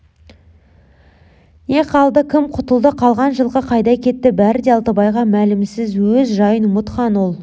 не қалды кім құтылды қалған жылқы қайда кетті бәрі де алтыбайға мәлімсіз өз жайын ұмытқан ол